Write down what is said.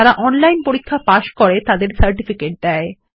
যারা অনলাইন পরীক্ষা পাস করে তাদের সার্টিফিকেট দেয়